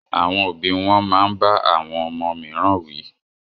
Àwọn òbí wón máa ń bá àwọn ọmọ mìíràn wí